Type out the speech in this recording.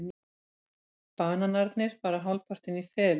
Bananarnir fara hálfpartinn í felur.